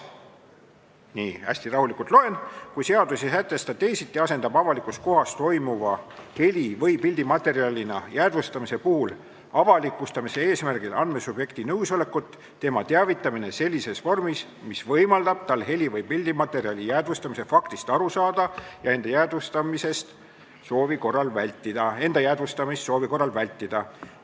Nii, hästi rahulikult loen: "Kui seadus ei sätesta teisiti, asendab avalikus kohas toimuva heli- või pildimaterjalina jäädvustamise puhul avalikustamise eesmärgil andmesubjekti nõusolekut tema teavitamine sellises vormis, mis võimaldab tal heli- või pildimaterjali jäädvustamise faktist aru saada ja enda jäädvustamist soovi korral vältida.